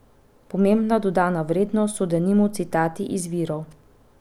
Pomembna dodana vrednost so denimo citati iz virov.